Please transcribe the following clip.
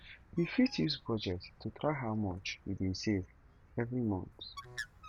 we fit use budget to track how much we dey save every month